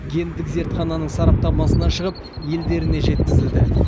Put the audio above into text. гендік зертхананың сараптамасынан шығып елдеріне жеткізілді